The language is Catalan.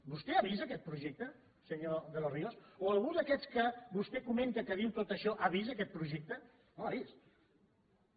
vostè ha vist aquest projecte senyor de los ríos o algú d’aquests que vostè comenta que diuen tot això ha vist aquest projecte no l’ha vist